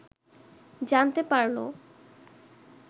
জানতে পারল